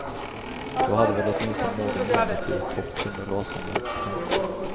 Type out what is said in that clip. Då hade väl åtminstone någon i landet blivit topp tunnor rasande. punkt